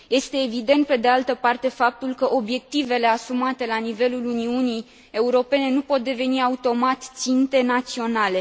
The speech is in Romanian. Este evident, pe de altă parte, faptul că obiectivele asumate la nivelul Uniunii Europene nu pot deveni automat obiective naționale.